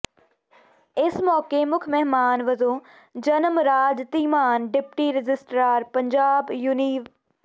ਇਸ ਮੌਕੇ ਮੁੱਖ ਮਹਿਮਾਨ ਵਜੋਂ ਜਨਮ ਰਾਜ ਧੀਮਾਨ ਡਿਪਟੀ ਰਜਿਸਟਰਾਰ ਪੰਜਾਬ ਯੂਨੀਵ